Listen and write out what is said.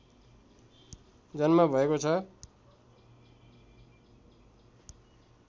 जन्म भएको छ